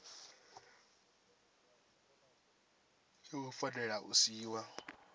zwo ngo fanela u siiwa